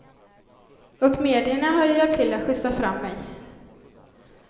Och medierna har ju hjälpt till att skjutsa fram mig.